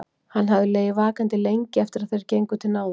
Hann hafði legið vakandi lengi eftir að þeir gengu til náða.